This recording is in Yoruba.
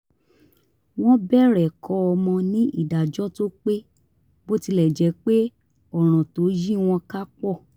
wọ́n bẹ̀rẹ̀ kọ́ ọmọ ní ìdájọ́ tó pé bó tilẹ̀ jẹ́ pé ọ̀ràn tó yí wọn ká pọ̀